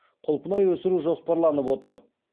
құлпынай өсіру жоспарланып отыр